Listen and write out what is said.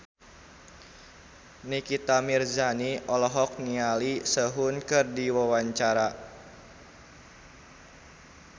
Nikita Mirzani olohok ningali Sehun keur diwawancara